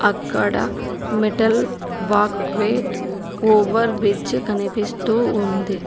అక్కడ metal walkway over bridge కనిపిస్తూ ఉంది.